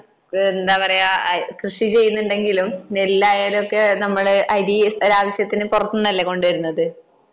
എന്താ പറയാ കൃഷി ചെയ്യുന്നുണ്ടെങ്കിലും നെല്ലായാലും ഒക്കെ നമ്മള് അരി ഒരാവശ്യത്തിന് പുറത്തു നിന്നല്ലേ കൊണ്ടുവരുന്നത്